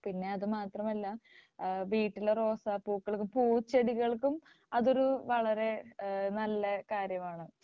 പിന്നെ അത് മാത്രമല്ല വീട്ടിലെ റോസാപ്പൂക്കൾ പൂച്ചെടികളും അതൊരു വളരെ ഏഹ് നല്ല കാര്യമാണ്.